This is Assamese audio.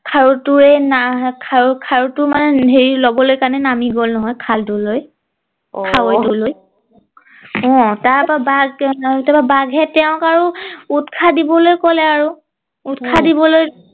খাৰু টোৱেই খাৰুটো মানে হেৰি লবলে কাৰণে নামি গল নহয় খালটোলৈ অহ খালটোলৈ অ তাৰ পৰা বাঘ তাৰ পৰা বাঘে তেওঁক আৰু উৎসাহ দিবলে কলে আৰু উম উৎসাহ দিবলৈ